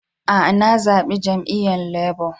Aa, na zabi jami'yyan Labour.